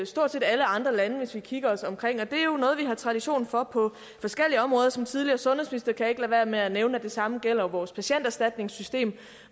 stort set alle andre lande hvis vi kigger os omkring og det er jo noget vi har tradition for på forskellige områder som tidligere sundhedsminister kan jeg ikke lade være med at nævne at det samme gælder vores patienterstatningssystem